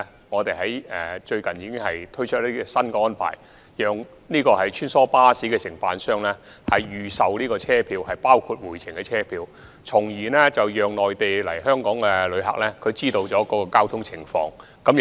我們最近已推出新安排，讓穿梭巴士承辦商預售團體車票，包括回程車票，以便內地來港旅客知悉有關交通情況。